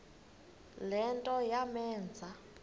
le nto yamenza